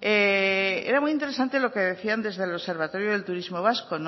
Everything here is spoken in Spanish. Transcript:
era muy interesante lo que decían desde el observatorio del turismo vasco